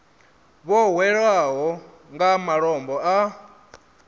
vho hwelwaho nga malombo a